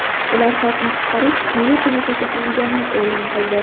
Ular Xalqni qutqarish milliy qo‘mitasi tuzilganini e’lon qildi.